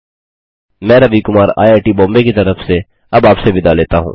मैं Ravi Kumar I I T Bombay की तरफ से अब आपसे विदा लेता हूँ